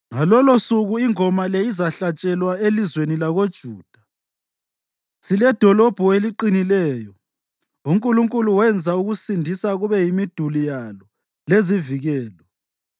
Ngalolosuku ingoma le izahlatshelwa elizweni lakoJuda: Siledolobho eliqinileyo; uNkulunkulu wenza ukusindisa kube yimiduli yalo lezivikelo.